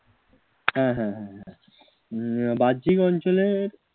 হ্যাঁ হ্যাঁ হ্যাঁ উম বাহ্যিক অঞ্চলে